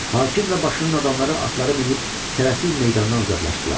Hakim və başının adamları atları minib tələsik meydandan uzaqlaşdılar.